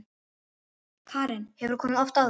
Karen: Hefurðu komið oft áður?